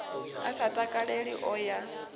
a sa takaleli o ya